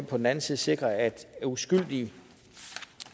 på den anden side sikre at uskyldige